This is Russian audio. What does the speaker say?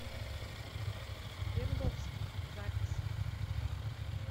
перловский запись